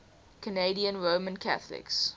canadian roman catholics